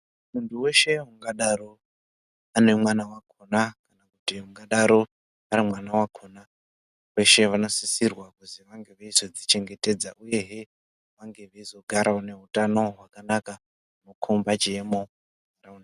Muntu weshe ungadaro ane mwana wakona kana kuti ungadaro ari mwana wakona veshe vanosisirwa kuzi vange veizodzichengetedza uyehe vange veizogarawo neutano hwakanaka hunokomba chiemo.